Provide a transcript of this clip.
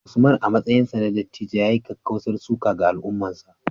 Usman, a matsayinsa na dattijo, ya yi kakkausar suka ga al’ummarsa